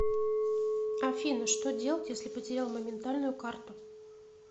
афина что делать если потерял моментальную карту